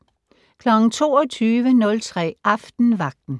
22:03: Aftenvagten